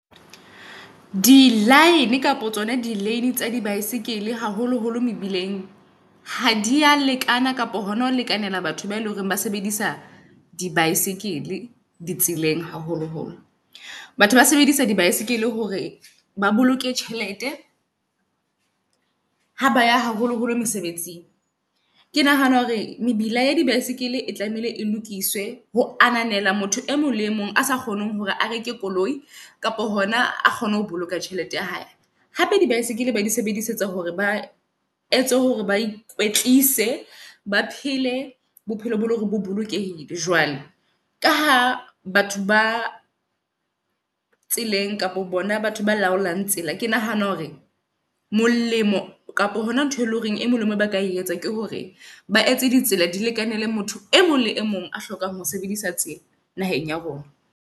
Di-line kapa tsona di-lane tsa di baesekele, haholo-holo mebileng. Ha di a lekana kapa hona ho lekanela batho ba eleng hore ba sebedisa di-baesekele di tseleng haholo-holo. Batho ba sebedisang dibaesekele hore ba boloke tjhelete ha ba ya haholoholo mesebetsing. Ke nahana hore mebila ya di baesekele e tlamehile e lokiswe ho ananela motho e mong le e mong a sa kgoneng hore a reke koloi kapa hona a kgone ho boloka tjhelete ya hae. Hape dibaesekele ba di sebedisetsa hore ba etse hore ba ikwetlise ba phele bophelo boo e leng hore bo bolokehile. Jwale ka ha batho ba tseleng kapa bona batho ba laolang tsela. Ke nahana hore molemo kapa hona ntho e leng horeng e molemo ba ka e etsa ke hore ba etse ditsela di lekane le motho e mong le e mong a hlokang ho sebedisa tsela naheng ya rona.